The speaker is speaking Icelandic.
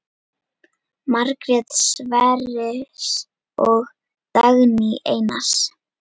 Margrét Sverris og Dagný Einars.